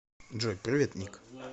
джой привет ник